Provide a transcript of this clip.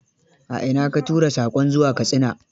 A ina ka tura saƙon zuwa Katsina?